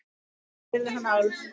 spurði hann Álf.